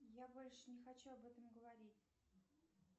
я больше не хочу об этом говорить